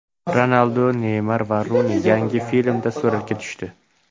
Ronaldu, Neymar va Runi yangi filmda suratga tushdi.